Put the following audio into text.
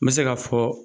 N bɛ se k'a fɔ